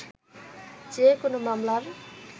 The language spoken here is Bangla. যে- কোনো মামলার